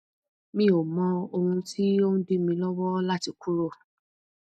mi ò mọ ohun tí ó ń dí mi lọwọ láti kúrò